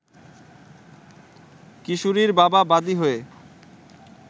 কিশোরীর বাবা বাদি হয়ে